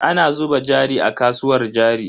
Ana zuba jari a kasuwar jari.